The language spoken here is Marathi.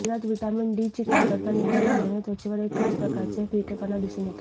शरीरात व्हिटॅमिन डी ची कमतरता निर्माण झाल्याने त्वचेवर एक खास प्रकारचे फिकेपणा दिसून येतो